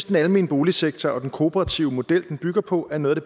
den almene boligsektor og den kooperative model den bygger på er noget af